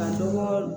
Ka dɔgɔ